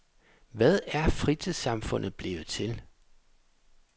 Hvad er fritidssamfundet blevet til?